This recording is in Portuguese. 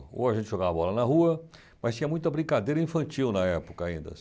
Ou a gente jogava bola na rua, mas tinha muita brincadeira infantil na época ainda.